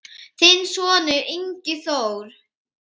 Þinn sonur, Ingi Þór.